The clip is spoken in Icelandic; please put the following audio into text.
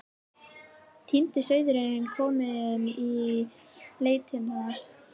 Týndi sauðurinn kominn í leitirnar.